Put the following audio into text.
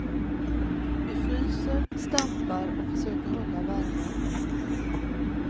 Vi fryser, stampar och försöker hålla värmen.